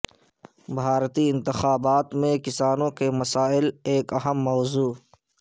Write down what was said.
بھارتی انتخابات میں کسانوں کے مسائل ایک اہم موضوع